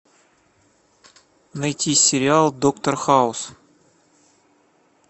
найти сериал доктор хаус